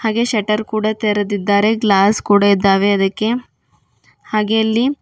A ಶೇಟರ ಕೂಡ ತರೇದಿದ್ದಾರೆ ಗ್ಲಾಸ್ ಕೂಡ ಇದ್ದಾವೆ ಅದಕ್ಕೆ ಹಾಗೆ ಅಲ್ಲಿ--